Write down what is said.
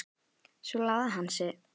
Svo lagði hann sig.